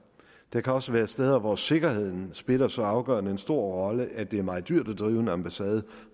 der kan også være steder hvor sikkerheden spiller så afgørende og stor en rolle at det er meget dyrt at drive en ambassade og